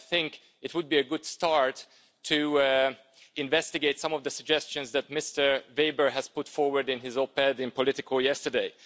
And I think it would be a good start to investigate some of the suggestions that Mr Weber has put forward in his op-ed in Politico yesterday.